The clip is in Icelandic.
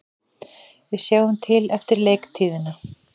Við sjáum til eftir leiktíðina,